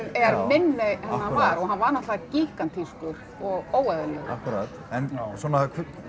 er minni en hann var og hann var náttúrulega og óeðlilegur akkúrat en svona